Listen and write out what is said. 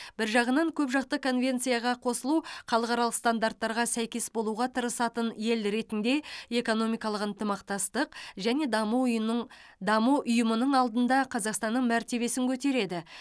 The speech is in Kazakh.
бір жағынан көпжақты конвенцияға қосылу халықаралық стандарттарға сәйкес болуға тырысатын ел ретінде экономикалық ынтымақтастық және даму ұйымының даму ұйымының алдында қазақстанның мәртебесін көтереді